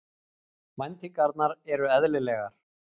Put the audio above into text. Væntingarnar eru eðlilegar